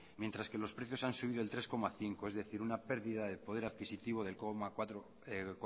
mientras que los precios han subido el tres coma cinco es decir una pérdida de poder adquisitivo de